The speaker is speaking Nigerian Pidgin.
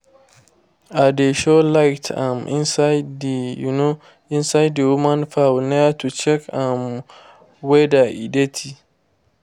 i dey show light um inside the um inside the woman fowl ear to check um whether e dirty